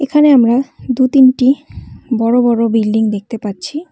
এখানে আমরা দু তিনটি বড় বড় বিল্ডিং দেখতে পাচ্ছি।